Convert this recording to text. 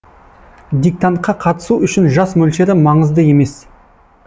диктантқа қатысу үшін жас мөлшері маңызды емес